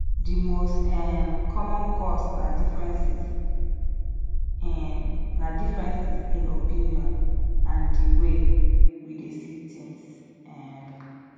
di most um common cause na differences in na differences in opinion and di way we dey see things um